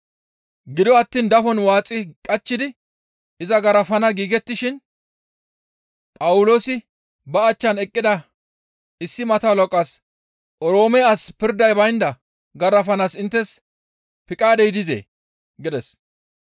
Gido attiin dafon waaxi qachchidi iza garafana giigettishin Phawuloosi ba achchan eqqida issi mato halaqaas, «Oroome as pirday baynda garafanaas inttes piqaadey dizee?» gides.